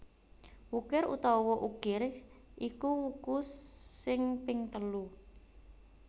Wukir utawa Ukir iku wuku sing ping telu